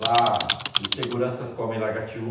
Lá os seguranças comem lagatiú.